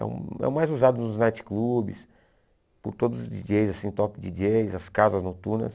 É o é o mais usado nos nightclubs, por todos os díi djêis, assim top díi djêis, as casas noturnas.